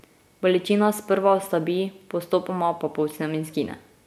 Bolečina sprva oslabi, postopoma pa povsem izgine.